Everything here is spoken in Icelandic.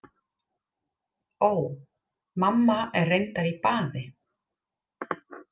Ó. Mamma er reyndar í baði.